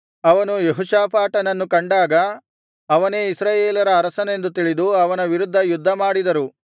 ಅವರು ಯೆಹೋಷಾಫಾಟನನ್ನು ಕಂಡಾಗ ಅವನೇ ಇಸ್ರಾಯೇಲರ ಅರಸನೆಂದು ತಿಳಿದು ಅವನ ವಿರುದ್ಧ ಯುದ್ಧಮಾಡಿದರು